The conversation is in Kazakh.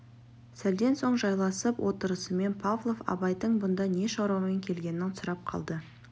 сәлден соң жайласып отырысымен павлов абайдың бұнда не шаруамен келгенін сұрап қалды